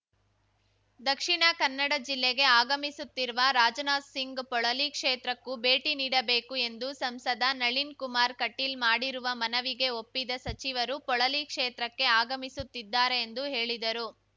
ದಕ್ಷಿಣಕನ್ನಡ ಜಿಲ್ಲೆಗೆ ಆಗಮಿಸುತ್ತಿರುವ ರಾಜನಾಥ್ ಸಿಂಗ್ ಪೊಳಲಿ ಕ್ಷೇತ್ರಕ್ಕೂ ಭೇಟಿ ನೀಡಬೇಕು ಎಂದು ಸಂಸದ ನಳಿನ್ ಕುಮಾರ್ ಕಟೀಲ್ ಮಾಡಿರುವ ಮನವಿಗೆ ಒಪ್ಪಿದ ಸಚಿವರು ಪೊಳಲಿ ಕ್ಷೇತ್ರಕ್ಕೆ ಆಗಮಿಸುತ್ತಿದ್ದಾರೆ ಎಂದು ಹೇಳಿದರು